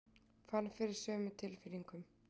Fann fyrir sömu tilfinningunum.